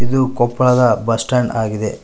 ಇದು ಕೊಪ್ಪಳದ bus stand ಆಗಿದೆ.